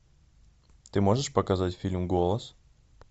ты можешь показать фильм голос